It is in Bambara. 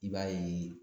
I b'a ye